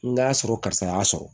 N'a sɔrɔ karisa y'a sɔrɔ